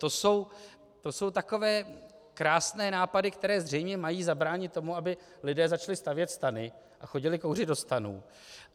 To jsou takové krásné nápady, které zřejmě mají zabránit tomu, aby lidé začali stavět stany a chodili kouřit do stanů.